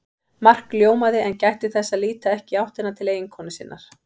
Mark ljómaði en gætti þess að líta ekki í áttina til eiginkonu sinnar.